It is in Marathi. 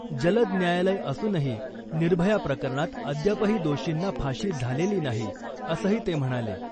जलद न्यायालय असूनही निर्भया प्रकरणात अद्यापही दोषींना फाशी झालेली नाही, असंही ते म्हणाले.